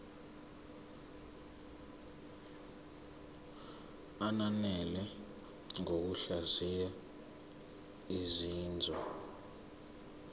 ananele ngokuhlaziya izinzwa